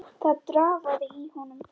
Það drafaði í honum.